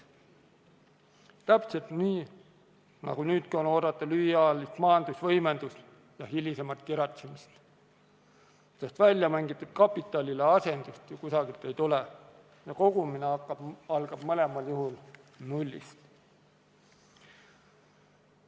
Täpselt nii, nagu nüüdki on oodata lühiajalist majanduse võimendumist ja hilisemat kiratsemist, sest väljamängitud kapitalile asendust ju kusagilt ei tule ja kogumine algab mõlemal juhul nullist.